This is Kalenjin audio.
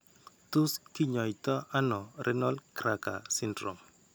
Tos' kiny'aayto ano renal nutcracker syndrome?